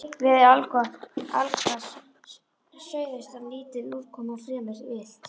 Veður allgott allhvass suðaustan lítil úrkoma og fremur milt.